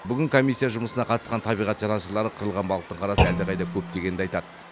бүгін комиссия жұмысына қатысқан табиғат жанашырлары қырылған балықтың қарасы әлдеқайда көп дегенді айтады